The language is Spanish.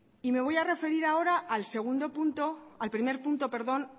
y me voy a referir ahora al segundo punto al primer punto perdón